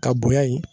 Ka bonya ye